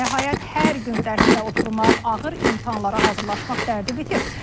Nəhayət, hər gün dərsdə oturmaq, ağır imtahanlara hazırlaşmaq dərdi bitir.